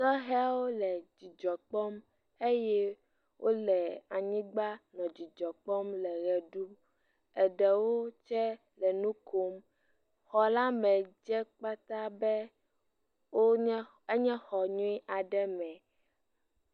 Sehɛwo le dzidzɔ kpɔm eye wole anyigba le dzidzɔ kpɔm le ʋe ɖum, eɖewo tse le nu kom, xɔ la me dze kpataa be, wonya…, enye xɔ nyuie aɖe me.